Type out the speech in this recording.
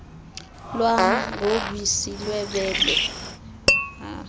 lwam ngobisi lwebele